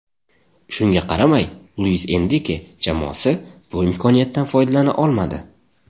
Shunga qaramay, Luis Enrike jamoasi bu imkoniyatdan foydalana olmadi.